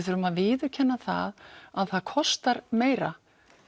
þurfum að viðurkenna það að það kostar meira